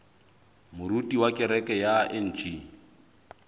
moruti wa kereke ya ng